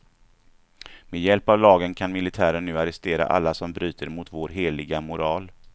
Med hjälp av lagen kan militären nu arrestera alla som bryter mot vår heliga moral.